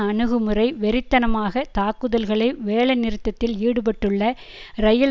அணுகுமுறை வெறித்தனமாக தாக்குதல்களை வேலைநிறுத்தத்தில் ஈடுபட்டுள்ள இரயில்